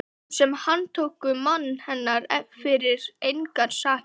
Þeim sem handtóku mann hennar fyrir engar sakir!